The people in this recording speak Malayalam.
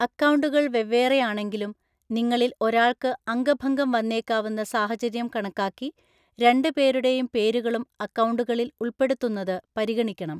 അക്കൗണ്ടുകൾ വെവ്വേറെയാണെങ്കിലും, നിങ്ങളിൽ ഒരാൾക്ക് അംഗഭംഗം വന്നേക്കാവുന്ന സാഹചര്യം കണക്കാക്കി രണ്ട് പേരുടെയും പേരുകളും അക്കൗണ്ടുകളിൽ ഉൾപ്പെടുത്തുന്നത് പരിഗണിക്കണം.